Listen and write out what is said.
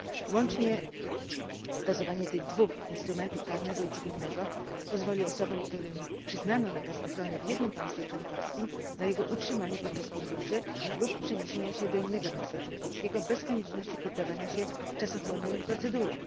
Łączne stosowanie tych dwóch instrumentów karnego i cywilnego pozwoli osobom, którym przyznano nakaz ochrony w jednym państwie członkowskim na jego utrzymanie podczas podróży lub przeniesienia się do innego państwa członkowskiego, bez konieczności poddawania się czasochłonnym procedurom.